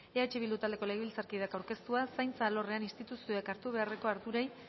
eh bildu taldeko legebiltzarkideak aurkeztua zaintza alorrean instituzioek hartu beharreko